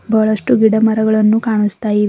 ಬಹಳಷ್ಟು ಗಿಡ ಮರಗಳನ್ನು ಕಾಣಿಸ್ತಾ ಇವೆ.